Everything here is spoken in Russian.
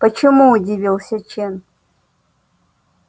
почему удивился чен